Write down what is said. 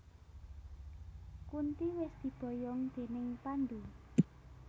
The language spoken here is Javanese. Kunti wis diboyong déning Pandhu